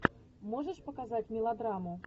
можешь показать мелодраму